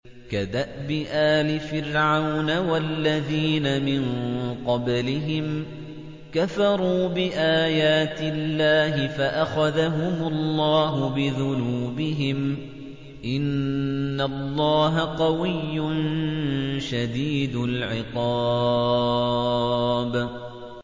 كَدَأْبِ آلِ فِرْعَوْنَ ۙ وَالَّذِينَ مِن قَبْلِهِمْ ۚ كَفَرُوا بِآيَاتِ اللَّهِ فَأَخَذَهُمُ اللَّهُ بِذُنُوبِهِمْ ۗ إِنَّ اللَّهَ قَوِيٌّ شَدِيدُ الْعِقَابِ